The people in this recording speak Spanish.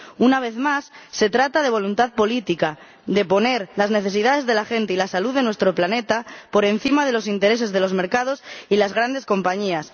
Una vez más, se trata de voluntad política, de poner las necesidades de la gente y la salud de nuestro planeta por encima de los intereses de los mercados y las grandes compañías.